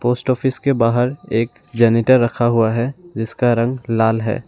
Post office के बाहर एक जनरेटर रखा हुआ है जिसका रंग लाल है।